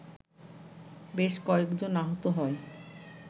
বেশ কয়েকজন আহত হয়